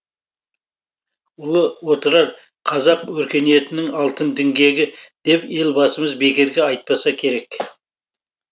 ұлы отырар қазақ өркениетінің алтын діңгегі деп елбасымыз бекерге айтпаса керек